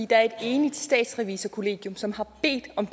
der er en enigt statsrevisorkollegium som har bedt om